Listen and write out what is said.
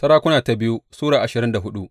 biyu Sarakuna Sura ashirin da hudu